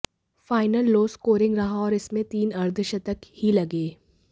final low scoring रहा और इसमें तीन अर्धशतक ही लगे